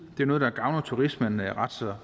noget der gavner turismen ret